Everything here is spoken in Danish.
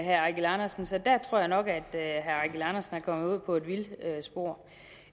herre eigil andersen så der tror jeg nok at herre eigil andersen er kommet ud på et vildspor